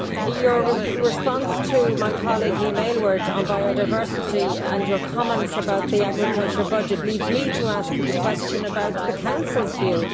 Your response to my colleague, Mr Aylward, on biodiversity, and your comments about the agriculture budget, lead me to ask you about the Council's view.